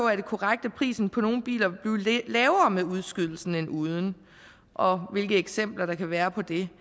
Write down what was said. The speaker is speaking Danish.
er korrekt at prisen på nogle biler vil blive lavere med udskydelsen end uden og hvilke eksempler der kan være på det vi